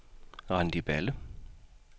Randi Balle